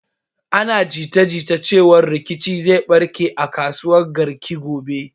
Ana jita jita cewan rikici zai barke a kasuwan Garki gobe.